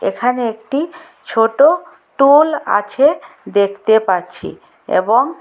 এখানে একটি ছোট টুল আছে দেখতে পাচ্ছি এবং--